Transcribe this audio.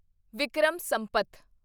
Vikram Sampath